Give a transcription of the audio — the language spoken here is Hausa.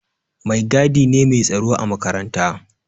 Mai gadi ne mai tsaro a makaranta.